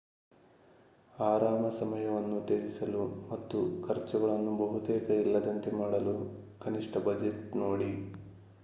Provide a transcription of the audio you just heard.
ಆರಾಮ ಸಮಯವನ್ನು ತ್ಯಜಿಸಲು ಮತ್ತು ಖರ್ಚುಗಳನ್ನು ಬಹುತೇಕ ಇಲ್ಲದಂತೆ ಮಾಡಲು ಕನಿಷ್ಠ ಬಜೆಟ್ ನೋಡಿ